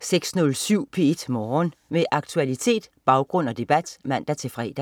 06.07 P1 Morgen. Med aktualitet, baggrund og debat (man-fre)